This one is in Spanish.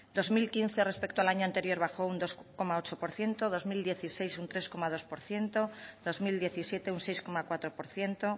dos mil quince respecto al año anterior bajo un dos coma ocho por ciento dos mil dieciséis un tres coma dos por ciento dos mil diecisiete un seis coma cuatro por ciento